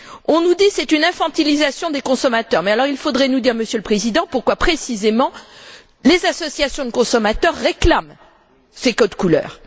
On nous dit c'est une infantilisation des consommateurs, mais il faudrait alors nous dire, Monsieur le Président, pourquoi, précisément, les associations de consommateurs réclament ces codes couleur.